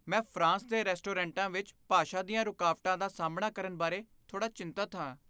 ਮੈਂ ਫਰਾਂਸ ਦੇ ਰੈਸਟੋਰੈਂਟਾਂ ਵਿੱਚ ਭਾਸ਼ਾ ਦੀਆਂ ਰੁਕਾਵਟਾਂ ਦਾ ਸਾਹਮਣਾ ਕਰਨ ਬਾਰੇ ਥੋੜ੍ਹਾ ਚਿੰਤਤ ਹਾਂ।